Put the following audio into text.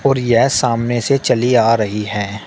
खड़ी है सामने से चली आ रही है।